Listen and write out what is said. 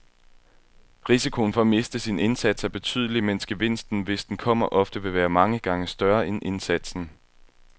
Risikoen for at miste sin indsats er betydelig, mens gevinsten, hvis den kommer, ofte vil være mange gange større end indsatsen.